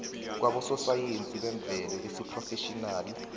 kwabososayensi bemvelo besiphrofetjhinali